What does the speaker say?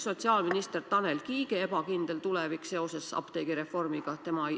Sotsiaalminister Tanel Kiige tulevik on apteegireformi tõttu ebakindel.